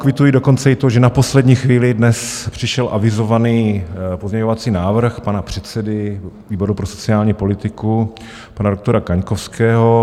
Kvituji dokonce i to, že na poslední chvíli dnes přišel avizovaný pozměňovací návrh pana předsedy výboru pro sociální politiku, pana doktora Kaňkovského.